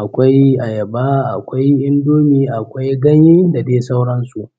akwai ayaba akwai indomie akwai ganye da dai sauransu.